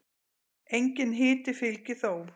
Enginn hiti fylgir þó.